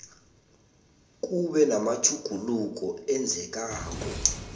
kube namatjhuguluko enzekako